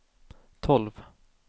tolv